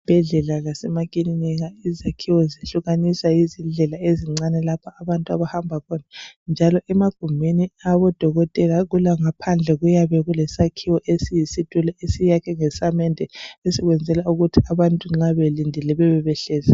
Ezibhedlela lasemakilinika, izakhiwo zehlukaniswa yizindlela ezincane. lapho abantu abahamba khona, njalo emagumbini awabodokotela, ngaphandle, kuyabe kulesakhiwo esiyisitulo. Esiyakhiwe ngesamende, esiyenzelwa ukuthi abantu nxa belindile, babe behlezi.